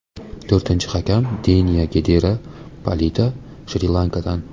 To‘rtinchi hakam Deniya Gedara Palita Shri-Lankadan.